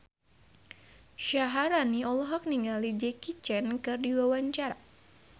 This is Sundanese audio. Syaharani olohok ningali Jackie Chan keur diwawancara